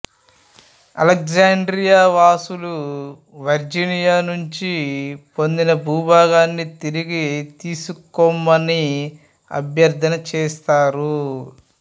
Alexandria వాసులు Virginia నుండి పొందిన భూభాగాన్ని తిరిగి తీసుకొమ్మని అభ్యర్ధన చేసారు